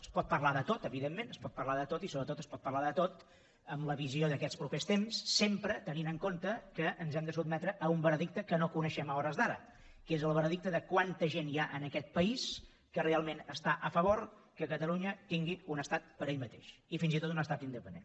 es pot parlar de tot evidentment es pot parlar de tot i sobretot es pot parlar de tot amb la visió d’aquests propers temps sempre tenint en compte que ens hem de sotmetre a un veredicte que no coneixem a hores d’ara que és el veredicte de quanta gent hi ha en aquest país que realment està a favor que catalunya tingui un estat per ell mateix i fins i tot un estat independent